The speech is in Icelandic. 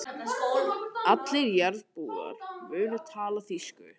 Allir jarðarbúar munu tala þýsku.